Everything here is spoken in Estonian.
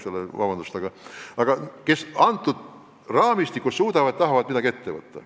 Need liidud tahavad selles raamistikus midagi ette võtta.